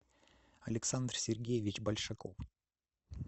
алексендр сергеевич большаков